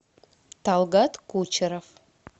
талгат кучеров